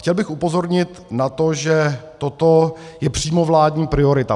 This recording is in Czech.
Chtěl bych upozornit na to, že toto je přímo vládní priorita.